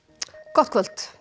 gott kvöld